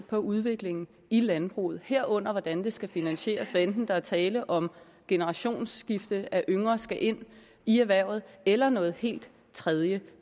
på udviklingen i landbruget herunder hvordan det skal finansieres hvad enten der er tale om generationsskifte om at yngre skal ind i erhvervet eller noget helt tredje